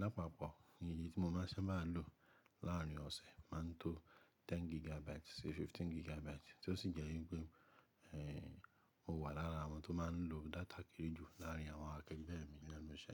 Lápapọ̀, iye tí mo máa ń sábà lò láàárín ọ̀sẹ̀ máa ń tó 10 gigabytes sí 15 gigabytes tí ó sì jẹ́ wípé, ẹ́hẹ̀, mo wà lára àwọn tó máa ń lo data kéré jù láàárín àwọn akẹgbẹ́ mi lenu iṣẹ́.